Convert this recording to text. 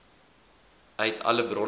uit alle bronne